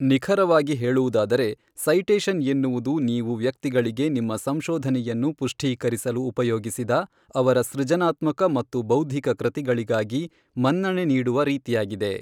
ನಿಖರವಾಗಿ ಹೇಳುವುದಾದರೆ ಸೈಟೇಷನ್ ಎನ್ನುವುದು ನೀವು ವ್ಯಕ್ತಿಗಳಿಗೆ ನಿಮ್ಮ ಸಂಶೋಧನೆಯನ್ನು ಪುಷ್ಠೀಕರಿಸಲು ಉಪಯೋಗಿಸಿದ ಅವರ ಸೃಜನಾತ್ಮಕ ಮತ್ತು ಬೌದ್ಧಿಕ ಕೃತಿಗಳಿಗಾಗಿ ಮನ್ನಣೆ ನೀಡುವ ರೀತಿಯಾಗಿದೆ.